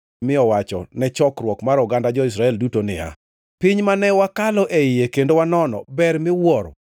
mi owacho ne chokruok mar oganda jo-Israel duto niya, “Piny mane wakalo e iye kendo wanono ber miwuoro.